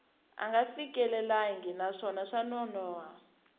nga fikelelangi naswona swa nonoha